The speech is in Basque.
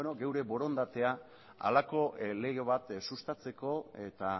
geure borondatea halako lege bat sustatzeko eta